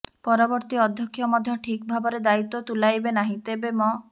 ପରବର୍ତ୍ତୀ ଅଧ୍ୟକ୍ଷ ମଧ୍ୟ ଠିକ ଭାବରେ ଦାୟିତ୍ୱ ତୁଲାଇବେ ନାହିଁ ତେବେ ମ